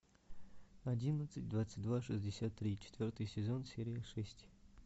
одиннадцать двадцать два шестьдесят три четвертый сезон серия шесть